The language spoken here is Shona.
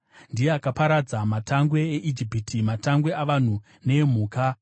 Ndiye akaparadza matangwe eIjipiti, matangwe avanhu neemhuka.